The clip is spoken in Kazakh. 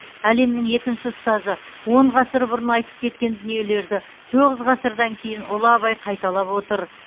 әлемнің екінші ұстазы он ғасыр бұрын айтып кеткен дүниелерді тоғыз ғасырдан кейін ұлы абай қайталап отыр